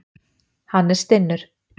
Hann er stinnur.